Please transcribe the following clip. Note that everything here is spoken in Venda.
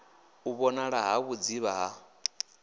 u vhonala ha vhudzivha ha